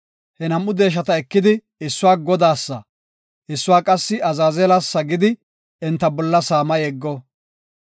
He nam7u deeshata ekidi issuwa Godaasa, issuwa qassi Azaazelasa gidi enta bolla saama yeggo.